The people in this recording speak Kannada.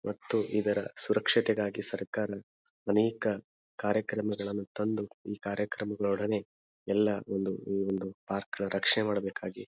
ಮತ್ತು ಇದರ ಸುರಕ್ಷತೆ ಗಾಗಿ ಸರ್ಕಾರ ಅನೇಕ ಕಾರ್ಯಕ್ರಮಗಳನ್ನು ತಂದು ಈ ಕಾರ್ಯಕ್ರಮಗಳೊಡನೆ ಎಲ್ಲ ಒಂದು ಈ ವಂದು ಪಾರ್ಕ್ ನ ರಕ್ಷಣೆ ಮಾಡಬೇಕಾಗಿ --